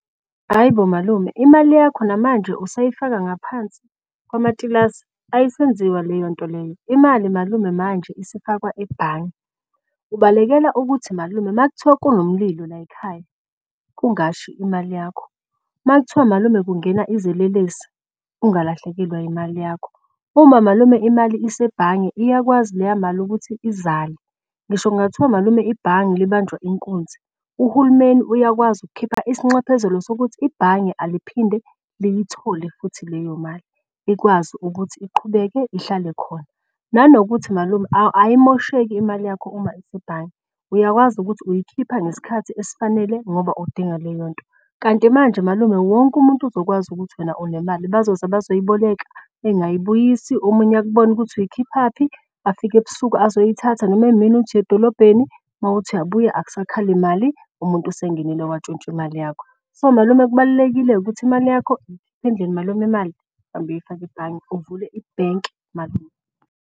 Ayi bo malume imali yakho namanje usayifaka ngaphansi kwamatilasi? Ayisenziwa leyo nto leyo imali malume manje isifakwa ebhange. Ubalekela ukuthi malume makuthiwa kunomlilo layikhaya kungashi imali yakho, makuthiwa malume kungena izelelesi ungalahlekelwa imali yakho. Uma malume imali asebhange iyakwazi leya mali ukuthi izale. Ngisho kungathiwa malume ibhange libanjwa inkunzi uhulumeni uyakwazi ukukhipha isinxephezelo sokuthi ibhange aliphinde liyithole futhi leyo mali ikwazi ukuthi iqhubeke ihlale khona. Nanokuthi malume ayimosheki imali yakho uma isebhange uyakwazi ukuthi uyikhipha ngesikhathi esifanele ngoba udinga leyonto. Kanti manje malume wonke umuntu ozokwazi ukuthi wena unemali. Bazoza bazoyiboleka engayibuyisi. Omunye akubone ukuthi uyikhiphaphi afike ebusuku azoyithatha noma emini uthi uyedolobheni mawukuthi uyabuya akusakhali mali. Umuntu esengenile watshontsha imali yakho, so malume kubalulekile ukuthi imali yakho. Ikhiphe endlini malume imali noma imali uhambe uyoyifaka ebhange uvule ibhenki malume.